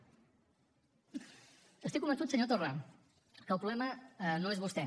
estic convençut senyor torra que el problema no és vostè